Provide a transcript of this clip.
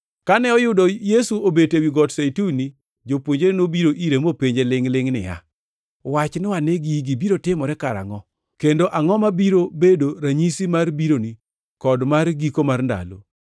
Kane oyudo Yesu obet ewi Got Zeituni Jopuonjre nobiro ire mopenje lingʼ-lingʼ niya, “Wachnwa ane, gigi biro timore karangʼo, kendo angʼo mabiro bedo ranyisi mar bironi kod mar giko mar ndalo?”